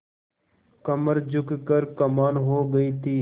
कमर झुक कर कमान हो गयी थी